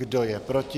Kdo je proti?